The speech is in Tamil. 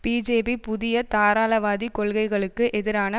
பிஜேபி புதிய தாராளவாத கொள்கைகளுக்கு எதிரான